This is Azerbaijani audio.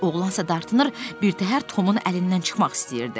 Oğlansa dartınır, birtəhər Tomun əlindən çıxmaq istəyirdi.